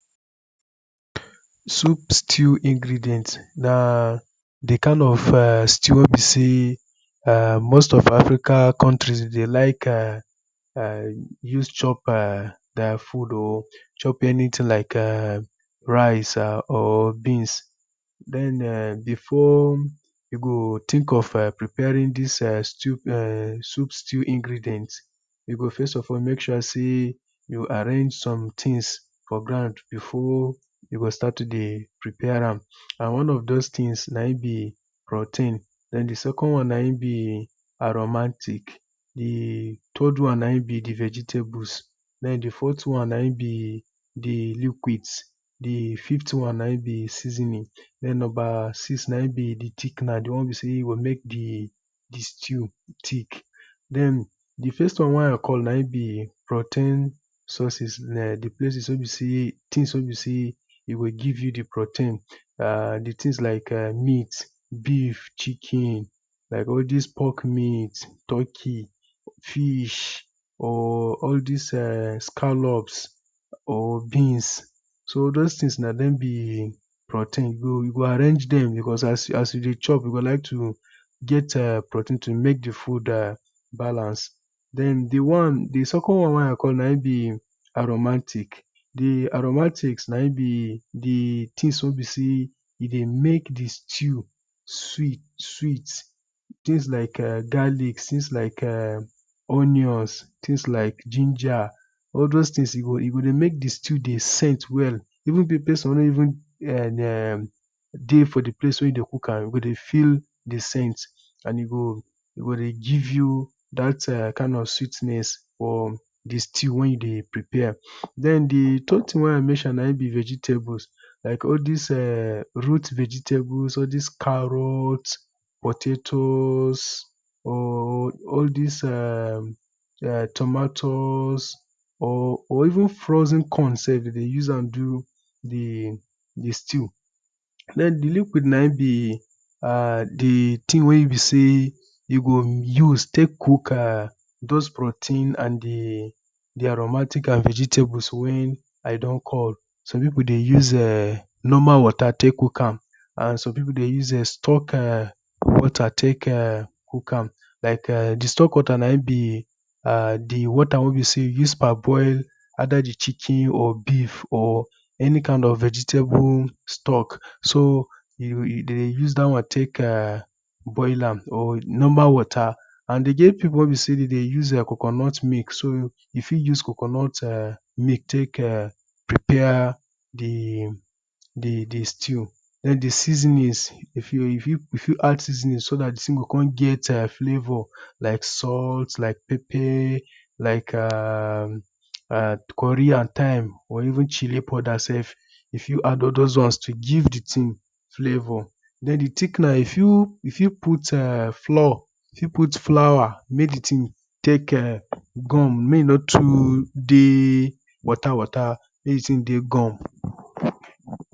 Soup stew ingredient na di kind of stew wey be sey most of African countries dem dey like [urn] use chop their food or use chop anything like rice or beans. Den before you go think of preparing dis stew soup stew ingredient you for first of all make sure sey you arrange something for ground before you go start to dey prepare am and one of doz things an im be protein and di second one na im be aromantic, di third one na im be di vegetables dem di forth one na im be di liquids, di fifth one na im be di seasoning den di number six one na im be di thickener di one wen be sey e go make di di stew thick. Dem di first one wey I call na im be protein sources, places wey be sey di things wey be sey you go give you di protein things like meat, beef, chicken, like all dis pork meat, fish, turkey or like all dis scallops or beans so all doz things na im be protein so you go arrange dem because as you dey chop you go ike to get protein to make di food balance. Den di one di second one wey I call na im be di aromantic, di aromantic, na im be di thing wey dey make di stew sweet things like garlic, things like onions, things like ginger all doz things e go make di stew dey scent well even person wey no even [urn] dey for di pace wey you dey cook e go dey feel di scent and e go dey give you dat kind of sweetness for di stew wen you dey prepare. Dem di third thing wey I mention na im be di vegetables like all dis [urn] root vegetables, all dis carrot, potatoes, all dis [urn] tomatoes or ven frozen corn sef, dem dey use am do di stew. Den di liquid na im be di thing wey be sey you go use take cook doz protein and di aromantic and vegetables, wen I don call, some people dey use [urn] normal water take cook am, and some people dey use stock water, take cook am and di stock water na im be di water wey you use take parboil either di chicken or beef or any kind of vegetable stock. So you dem dey use dat one take boil am or normal water and e get people wey be sey dem dey use coconut mix so you fit use coconut mix take prepare di stew, den di seasoning you fit you fit add di seasoning so dat di thing go come get flavor, like salt like pepper, like [urn] curry and thyme or even chili powder sef you fit add all doz ones to give di thing flavor. Den di thickener you fit fit put flour make di thing take gum you fit fit put flour make e no dey water water make di thing dey gum.